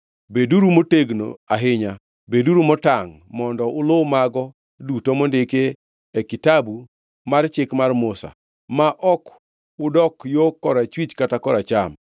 “Beduru motegno ahinya; beduru motangʼ mondo ulu mago duto mondikie Kitabu mar Chik mar Musa, ma ok udok yo korachwich kata koracham.